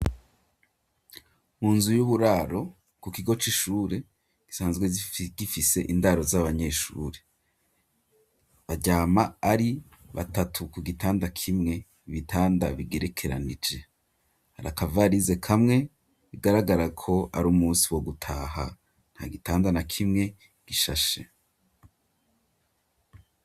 Mu nzu y'uburaro ku kigo c'ishure gisanzwe gifise indaro z'abanyeshuri baryama ari batatu ku gitanda kimwe ibitanda bigerekeranije hari aka varize kamwe bigaragara ko ari umunsi wo gutaha ntagitanda na kimwe gishashe.